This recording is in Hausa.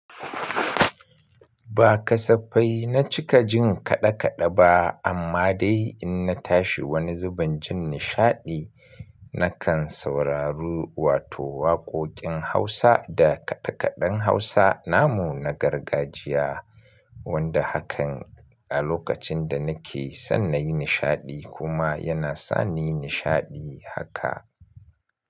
Ba kasafai na cika jin kaɗe kaɗe ba amma dai in na tashi wani zubin jin nishaɗi nakan sauraru wato waƙoƙin Hausa da kaɗe kaɗen Hausa namu na gargajiya wanda hakan a lokacin da nake son na yi nishaɗi kuma yana sani nishaɗi haka.